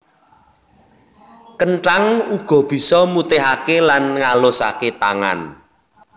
Kenthang uga bisa mutihaké lan ngalusaké tangan